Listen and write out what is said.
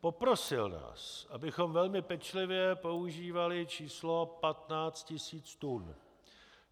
Poprosil nás, abychom velmi pečlivě používali číslo 15 tisíc tun.